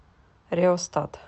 реостат